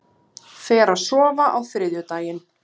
Fer að sofa á þriðjudaginn